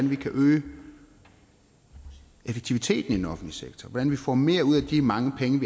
vi kan øge effektiviteten i den offentlige sektor hvordan vi får mere ud af de mange penge